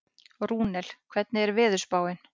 Rúnel, hvernig er veðurspáin?